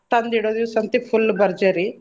ತಂದ್ ಇಡೋ ದೀವ್ಸ್ ಅಂತಿ full ಭರ್ಜರಿ.